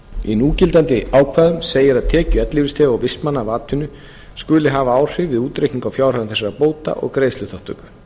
í núgildandi ákvæðum segir að tekjur ellilífeyrisþega og vistmanna af atvinnu skuli hafa áhrif við útreikning á fjárhæðum þessara bóta og greiðsluþátttöku